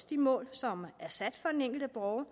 de mål som er sat for den enkelte borger